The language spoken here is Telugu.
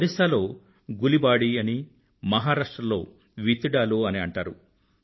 ఒరిస్సా లో గులిబాడీ అనీ మహారాష్ట్రలో విత్తిడాలు అనీ అంటారు